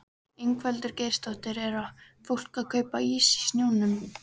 Ingveldur Geirsdóttir: Er fólk að kaupa ís í snjónum?